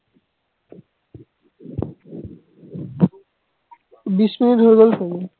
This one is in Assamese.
বিছ মিনিট হৈ গল চাগে